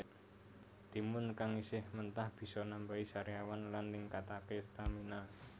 Timun kang isih mentah bisa nambani sariawan lan ningkataké stamina